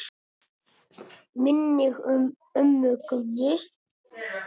Minning um ömmu Gummu.